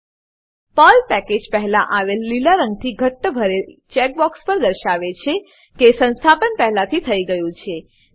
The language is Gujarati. પર્લ પેકેજ પર્લ પેકેજ પહેલા આવેલ લીલા રંગથી ઘટ્ટ ભરેલ ચેક બોક્સ દર્શાવે છે કે સંસ્થાપન પહેલાથી થઇ ગયું છે